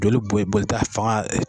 Joli bo bo boli ta fanga